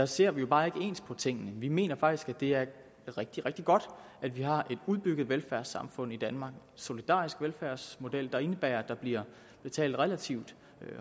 ser vi jo bare ikke ens på tingene vi mener faktisk at det er rigtig rigtig godt at vi har et udbygget velfærdssamfund i danmark solidarisk velfærdsmodel der indebærer at der bliver betalt relativt